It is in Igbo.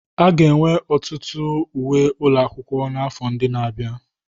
A ga-enwe ọtụtụ uwe ụlọ akwụkwọ n'afọ ndị na-abịa.